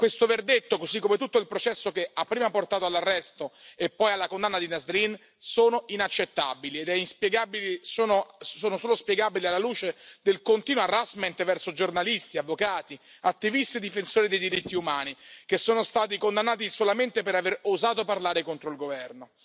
Questo verdetto, così come tutto il processo che ha prima portato all'arresto e poi alla condanna di Nasrin, sono inaccettabili e sono solo spiegabili alla luce del continuo harassment verso giornalisti, avvocati, attivisti e difensori dei diritti umani, che sono stati condannati solamente per aver osato parlare contro il governo.